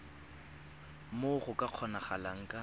moo go ka kgonagalang ka